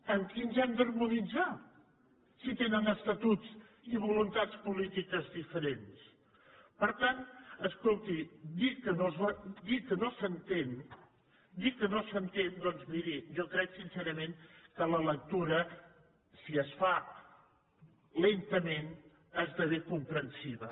amb qui ens hem d’harmonitzar si tenen estatuts i voluntats polítiques diferents per tant escolti dir que no s’entén doncs miri jo crec sincerament que la lectura si es fa lentament esdevé comprensiva